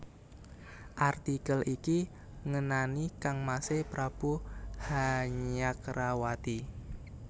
Artikel iki ngenani kangmasé Prabu Hanyakrawati